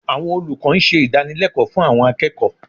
Àwọn olùkọ́ ń ṣe ìdànilẹ́kọ̀ọ́ fún àwọn akẹ́kọ̀ọ́